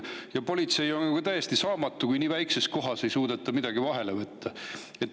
Ja politsei on täiesti saamatu, kui nii väikses kohas ei suudeta midagi ette võtta.